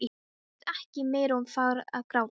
Ég gat ekki meir og fór að gráta.